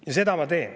Ja seda ma teen.